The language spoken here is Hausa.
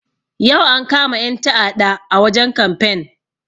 Yau ankama 'yan ta'aɗa a wajen kamfen.